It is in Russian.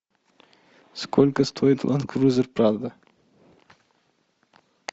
сколько стоит ленд крузер прадо